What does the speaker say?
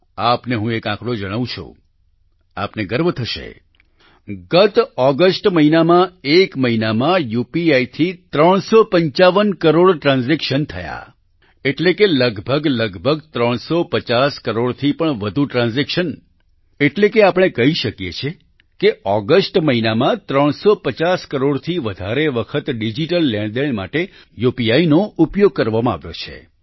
આપને હું એક આંકડો જણાવું છું આપને ગર્વ થશે ગત ઓગસ્ટ મહિનામાં એક મહિનામાં UPIથી 355 કરોડ ટ્રાન્ઝેક્શન થયા એટલે કે લગભગલગભગ 350 કરોડથી પણ વધુ ટ્રાન્ઝેક્શન એટલે કે આપણે કહી શકીએ છીએ કે ઓગસ્ટ મહિનામાં 350 કરોડથી વધારે વખત ડિજીટલ લેણદેણ માટે યુપીઆઇ નો ઉપયોગ કરવામાં આવ્યો છે